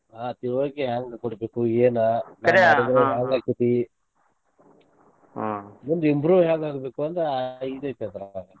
ಹಾ ತಿಳವಳಿಕೆ ಹೆಂಗ ಕೊಡಬೇಕು ಏನ .